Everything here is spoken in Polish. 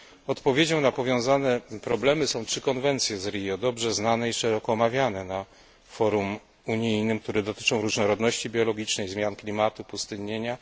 Odpowiedzią na powiązane problemy są trzy konwencje z Rio, dobrze znane i szeroko omawiane na forum unijnym, które dotyczą różnorodności biologicznej, zmian klimatu i pustynnienia.